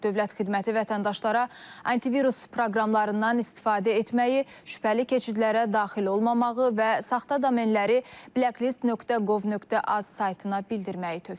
Dövlət xidməti vətəndaşlara antivirus proqramlarından istifadə etməyi, şübhəli keçidlərə daxil olmamağı və saxta domenləri blacklist.gov.az saytına bildirməyi tövsiyə edir.